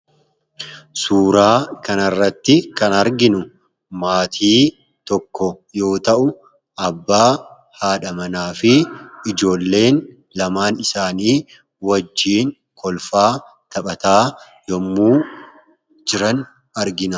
suuraa kanarratti kan arginu maatii tokko yoo ta'u abbaa haadhamanaa fi ijoolleen lamaan isaanii wajjiin kolfaa taphataa yommuu jiran argina.